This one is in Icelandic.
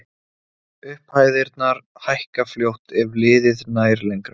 Upphæðirnar hækka fljótt ef liðið nær lengra.